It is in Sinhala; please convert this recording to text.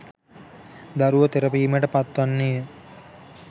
දරුවා තෙරපීමට පත්වන්නේ ය.